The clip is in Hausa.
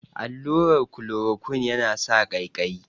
Allurar kolorokuine ya na sa ƙaiƙayi